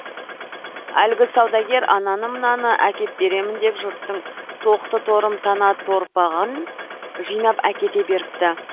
әлгі саудагер ананы мынаны әкеп беремін деп жұрттың тоқты торым тана торпағын жинап әкете беріпті